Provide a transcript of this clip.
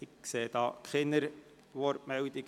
Ich sehe keine Wortmeldungen.